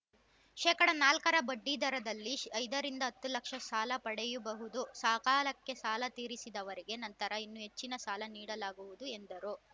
ಶೇಕಡಾ ನಾಲ್ಕ ರ ಬಡ್ಡಿದರದಲ್ಲಿ ಐದ ರಿಂದ ಹತ್ತು ಲಕ್ಷ ಸಾಲ ಪಡೆಯಬಹುದು ಸಕಾಲಕ್ಕೆ ಸಾಲ ತೀರಿಸಿದವರಿಗೆ ನಂತರ ಇನ್ನೂ ಹೆಚ್ಚಿನ ಸಾಲ ನೀಡಲಾಗುವುದು ಎಂದರು